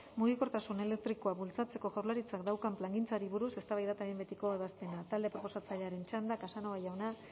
mugikortasun elektrikoa bultzatzeko jaurlaritzak daukan plangintzari buruz eztabaida eta behin betiko ebazpena talde proposatzailearen txanda casanova jauna